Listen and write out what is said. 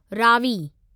Ravi